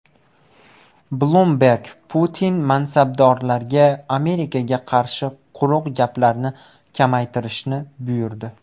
Bloomberg: Putin mansabdorlarga Amerikaga qarshi quruq gaplarni kamaytirishni buyurdi.